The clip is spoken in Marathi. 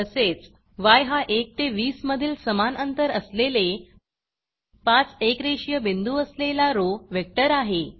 तसेच yहा 1 ते 20 मधील समान अंतर असलेले 5 एकरेषीय बिंदू असलेला रो वेक्टर आहे